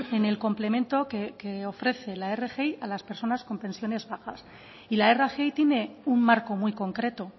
en el complemento que ofrece la rgi a las personas con pensiones bajas y la rgi tiene un marco muy concreto